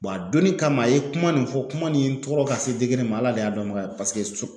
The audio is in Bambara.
a donnin kama a ye kuma nin fɔ kuma nin ye tɔɔrɔ ka se min ma Ala de y'a dɔn baga ye paseke